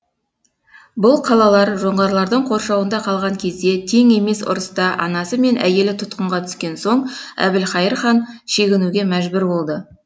бұл қалалар жоңғарлардың қоршауында қалған кезде тең емес ұрыста анасы мен әйелі тұтқынға түскен соң әбілқайыр хан шегінуге мәжбүр болды